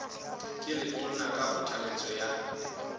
ke letona ka kgothaletso ya